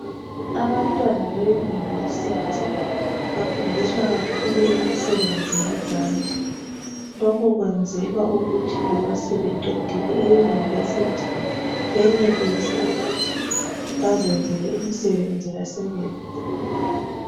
Abantwana be university bafundiswa kakhulu imisebenzi yezandla. Lokhu kwenzelwa ukuthi loba sebeqedile e University benelise ukuthi bazenzele imisebenzi basebenze.